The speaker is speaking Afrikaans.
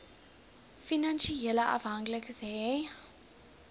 finansiële afhanklikes hê